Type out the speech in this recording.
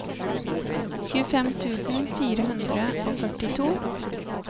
tjuefem tusen fire hundre og førtito